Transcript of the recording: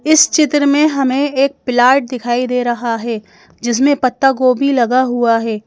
इस चित्र में हमें एक प्लाट दिखाई दे रहा है जिसमें पत्ता गोबी लगा हुआ है।